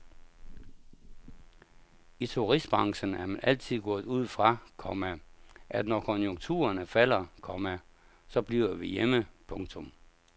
I turistbranchen er man altid gået ud fra, komma at når konjukturerne falder, komma så bliver vi hjemme. punktum